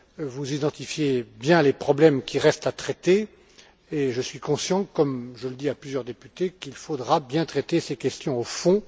Vous identifiez bien les problèmes qui restent à traiter et je suis conscient, comme je l'ai dit à plusieurs députés, qu'il faudra bien traiter ces questions au fond.